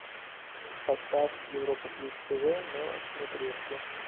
поставь европа плюс тв на смотрешке